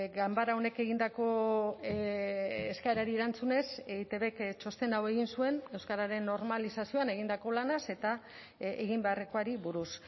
ganbara honek egindako eskaerari erantzunez eitbk txostena hau egin zuen euskararen normalizazioan egindako lanaz eta egin beharrekoari buruz